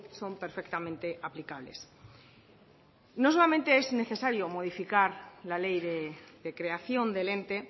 son perfectamente aplicables no solamente es necesario modificar la ley de creación del ente